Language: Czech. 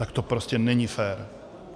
Tak to prostě není fér.